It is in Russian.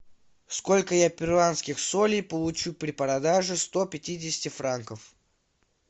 сколько я перуанских солей получу при продаже сто пятидесяти франков